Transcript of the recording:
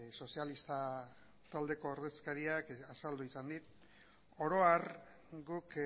sozialista taldeko ordezkariak azaldu izan dit oro har guk